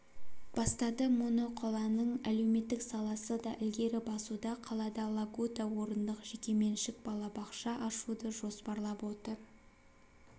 бастады моноқаланың әлеуметтік саласы да ілгері басуда қалада лагута орындық жекеменшік балабақша ашуды жоспарлап отыр